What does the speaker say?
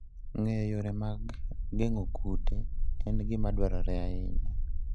Ng'eyo yore mag geng'o kute en gima dwarore ahinya.